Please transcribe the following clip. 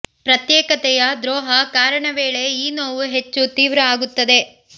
ಪ್ರತ್ಯೇಕತೆಯ ದ್ರೋಹ ಕಾರಣ ವೇಳೆ ಈ ನೋವು ಹೆಚ್ಚು ತೀವ್ರ ಆಗುತ್ತದೆ